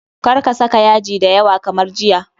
Kar ka saka yaji da yawa kamar jiya.